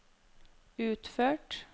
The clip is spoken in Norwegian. utført